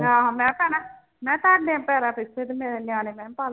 ਆਹੋ ਮੈਂ ਭੈਣਾ ਮੈਂ ਭੈਣ ਪਿੱਛੇ ਤੇ ਮੇਰੇ ਨਿਆਣੇ ਮੈਂ ਕਿਹਾ ਪਲ